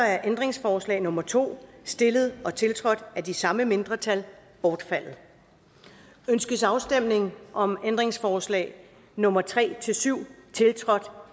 er ændringsforslag nummer to stillet og tiltrådt af de samme mindretal bortfaldet ønskes afstemning om ændringsforslag nummer tre syv tiltrådt